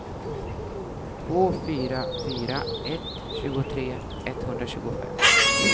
två fyra fyra ett tjugotre etthundratjugofem